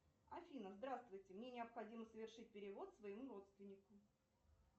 афина здравствуйте мне необходимо совершить перевод своему родственнику